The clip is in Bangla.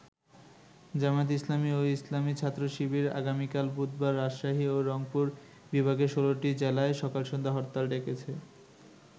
জামায়াতে ইসলামী ও ইসলামী ছাত্র শিবির আগামীকাল বুধবার রাজশাহী ও রংপুর বিভাগের ১৬টি জেলায় সকাল-সন্ধ্যা হরতাল ডেকেছে।